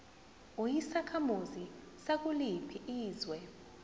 uyisakhamuzi sakuliphi izwe